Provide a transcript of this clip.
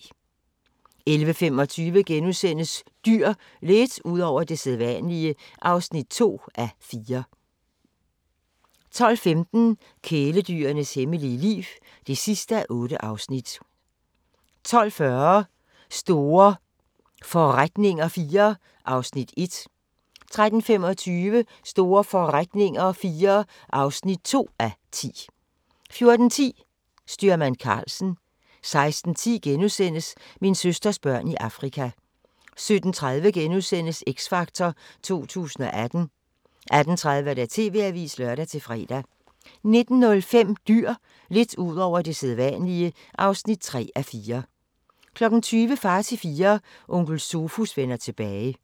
11:25: Dyr – lidt ud over det sædvanlige (2:4)* 12:15: Kæledyrenes hemmelige liv (8:8) 12:40: Store forretninger IV (1:10) 13:25: Store forretninger IV (2:10) 14:10: Styrmand Karlsen 16:10: Min søsters børn i Afrika * 17:30: X Factor 2018 * 18:30: TV-avisen (lør-fre) 19:05: Dyr – lidt ud over det sædvanlige (3:4) 20:00: Far til Fire – Onkel Sofus vender tilbage